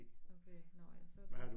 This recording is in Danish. Okay nåh ja så det